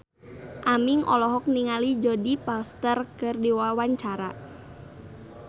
Aming olohok ningali Jodie Foster keur diwawancara